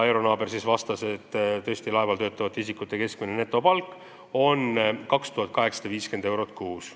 Eero Naaber vastas, et laeval töötavate isikute keskmine netopalk on tõesti 2850 eurot kuus.